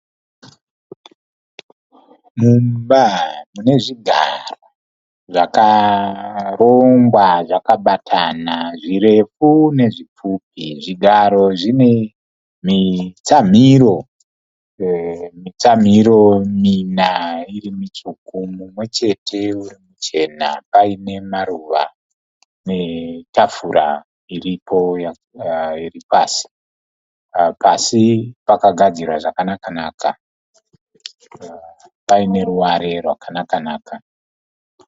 Mumba mune zvigaro zvakarongwa zvakabatana, zvirefu nezvipfupi. Zvigaro zvine mitsamiro mina iri mitsvuku, mumwe chete uri muchena paine maruva netafura iripo iri pasi. Pasi pakagadzirwa zvakanakanaka paine ruware rwakanakanaka.